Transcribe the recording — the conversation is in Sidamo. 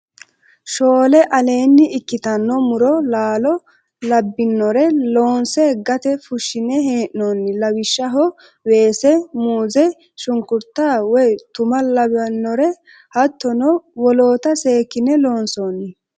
Shoole aleeni ikkittano muro laalo labbinore loonse gate wonshine hee'nonni lawishshaho weese muze shunkurta woyi tuma lawinore hattono wolootta seekkine loonsonni.